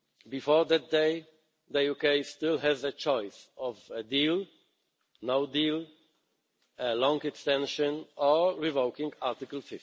Before that day, the UK still has a choice of a deal, no deal, a long extension or revoking Article